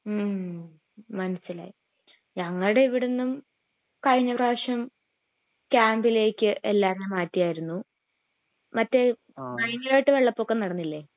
മ്മ്ഹ് മനസിലായി ഞങ്ങടെ ഇവിടുന്നും കഴിഞ്ഞ പ്രാവിശ്യം ക്യാമ്പിലേക്ക് എല്ലാവരേം മാറ്റിയാർന്നു മറ്റേ ഭയങ്കരായിട്ട് വെള്ളപ്പൊക്കം നടന്നില്ലേ